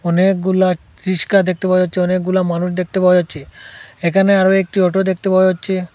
অনেকগুলা রিস্কা দেখতে পাওয়া যাচ্ছে অনেকগুলা মানুষ দেখতে পাওয়া যাচ্ছে এখানে আরও একটি অটো দেখতে পাওয়া যাচ্ছে।